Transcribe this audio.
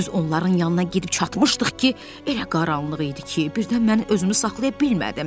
Düz onların yanına gedib çatmışdıq ki, elə qaranlıq idi ki, birdən mən özümü saxlaya bilmədim.